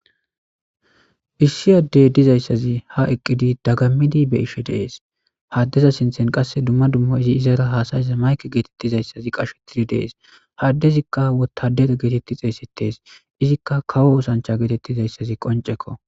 Hissi addey dizayssazi ha eqqidi dagammidi be ishe dees haddeza sinthen qasse dumma dummo izi izara haasayiza mayke geetettizayssazi qashettidi dees haddezikka wotadeta geetetti xeessetes izikka kawo osancha geetettizayssazi qoncekko.